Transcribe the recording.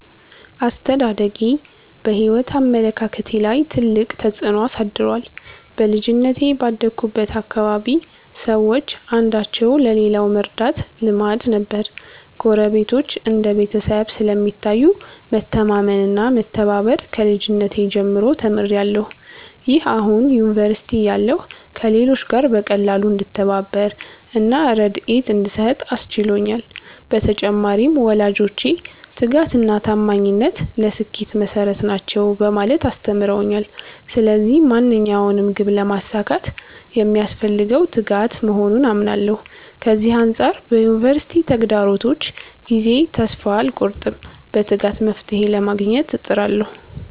አስተዳደጌ በሕይወት አመለካከቴ ላይ ትልቅ ተጽዕኖ አሳድሯል። በልጅነቴ ባደግሁበት አካባቢ ሰዎች አንዳቸው ለሌላው መርዳት ልማድ ነበር። ጎረቤቶች እንደ ቤተሰብ ስለሚታዩ፣ መተማመን እና መተባበር ከልጅነቴ ጀምሮ ተምሬያለሁ። ይህ አሁን ዩኒቨርሲቲ እያለሁ ከሌሎች ጋር በቀላሉ እንድተባበር እና ርድኤት እንድሰጥ አስችሎኛል። በተጨማሪም፣ ወላጆቼ 'ትጋት እና ታማኝነት ለስኬት መሠረት ናቸው' በማለት አስተምረውኛል። ስለዚህ ማንኛውንም ግብ ለማሳካት የሚያስፈልገው ትጋት መሆኑን አምናለሁ። ከዚህ አንጻር በዩኒቨርሲቲ ተግዳሮቶች ጊዜ ተስፋ አልቆርጥም፤ በትጋት መፍትሔ ለማግኘት እጥራለሁ።